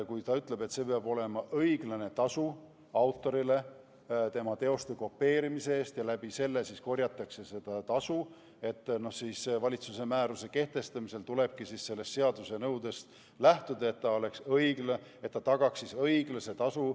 Kui seadus ütleb, et peab olema õiglane tasu autorile tema teoste kopeerimise eest, ja läbi selle korjatakse seda tasu, siis tulebki valitsuse määruse kehtestamisel lähtuda sellest seaduse nõudest, et teose autorile oleks tagatud õiglane tasu.